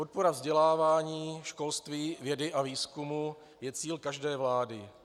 Podpora vzdělávání, školství, vědy a výzkumu je cíl každé vlády.